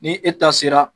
Ni e ta sera